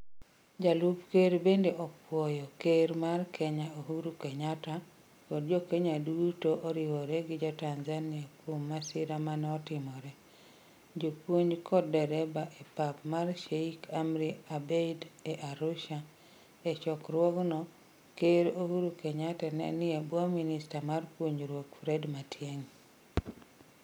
Jalup Ker bende opwoyo Ker mar Kenya Uhuru Kenyatta kod Jo-Kenya duto oriwore gi Jo-Tanzania kuom masira ma notimoreno. Jopuonj kod dereba e pap mar Sheikh Amri Abeid e Arusha, E chokruogno, Ker Uhuru Kenyatta ne nie bwo Minista mar Puonjruok, Fred Matiang'i.